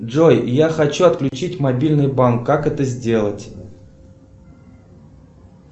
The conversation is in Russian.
джой я хочу отключить мобильный банк как это сделать